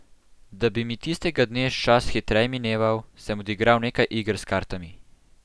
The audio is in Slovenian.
Da bi mi tistega dne čas hitreje mineval, sem odigral nekaj iger s kartami.